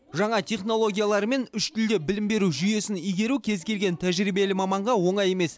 жаңа технологиялармен үш тілде білім беру жүйесін игеру кез келген тәжірибелі маманға оңай емес